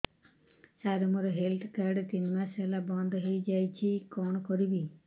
ସାର ମୋର health card ତିନି ମାସ ହେଲା ବନ୍ଦ ହେଇଯାଇଛି କଣ କରିବି